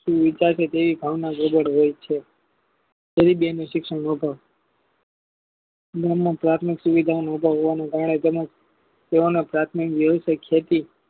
તેવી વિકસે ભાવના ગજર હોય છે પરી બેનું શિક્ષણ ઓધાર નામના ત્યાગનું સુવિધાન હોવાનું કલ જનક તેઓને પ્રાથમિક વ્યવસે ખેતી